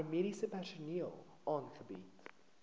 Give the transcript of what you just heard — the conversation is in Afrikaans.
paramediese personeel aangebied